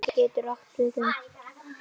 Vegamót getur átt við um